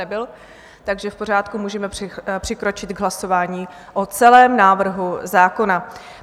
Nebyl, takže v pořádku, můžeme přikročit k hlasování o celém návrhu zákona.